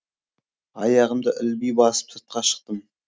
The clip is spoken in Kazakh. аяғымды ілби басып сыртқа шықтым